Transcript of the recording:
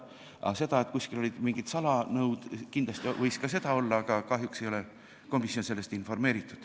Aga seda, et kuskil peeti mingit salanõu – kindlasti võis ka seda olla, aga kahjuks ei ole komisjoni sellest informeeritud.